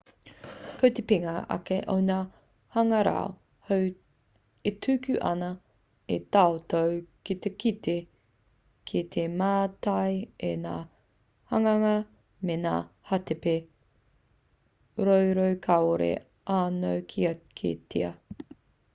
ko te pikinga ake o ngā hangarau hou e tuku ana i a tātou ki te kite ki te mātai i ngā hanganga me ngā hātepe roro kāore anō kia kitea